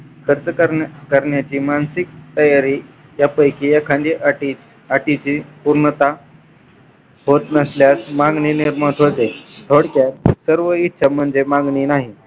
खर्च करण्याची मानसिक तयारी यापैकी एखांदी अटी अटींची पूर्णता होत नसल्यास मागणी एक महत्वाची थोडक्यात सर्व इच्छा म्हणजे मागणी नाही